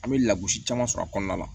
An bɛ lagosi caman sɔrɔ a kɔnɔna la